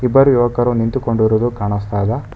ಇಬ್ಬರು ಯುವಕರು ನಿಂತುಕೊಂಡಿರುದು ಕಾಣಿಸ್ತಾ ಇದೆ.